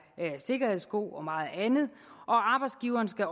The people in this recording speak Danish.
sikkerhedssko og meget andet og arbejdsgiveren skal